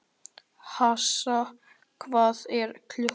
Assa, hvað er klukkan?